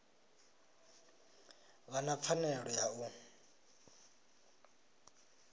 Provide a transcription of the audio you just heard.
vha na pfanelo ya u